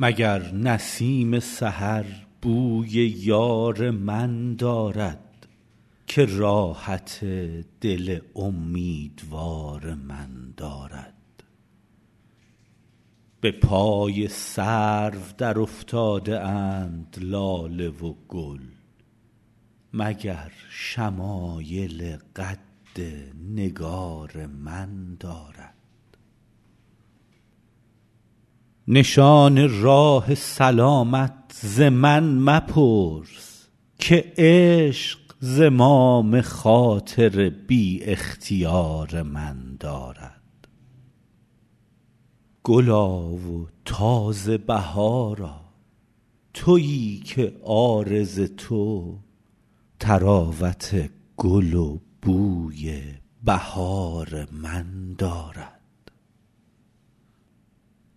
مگر نسیم سحر بوی یار من دارد که راحت دل امیدوار من دارد به پای سرو درافتاده اند لاله و گل مگر شمایل قد نگار من دارد نشان راه سلامت ز من مپرس که عشق زمام خاطر بی اختیار من دارد گلا و تازه بهارا تویی که عارض تو طراوت گل و بوی بهار من دارد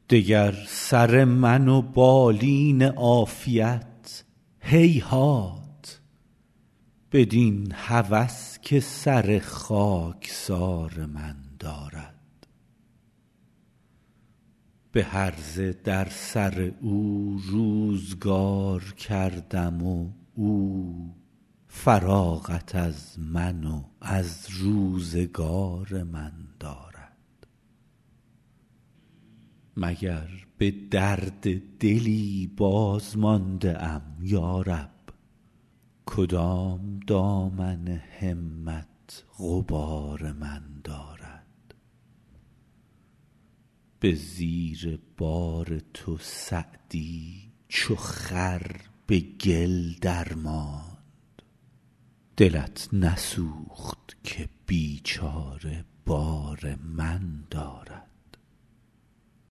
دگر سر من و بالین عافیت هیهات بدین هوس که سر خاکسار من دارد به هرزه در سر او روزگار کردم و او فراغت از من و از روزگار من دارد مگر به درد دلی بازمانده ام یا رب کدام دامن همت غبار من دارد به زیر بار تو سعدی چو خر به گل درماند دلت نسوخت که بیچاره بار من دارد